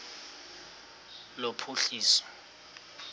lophuhliso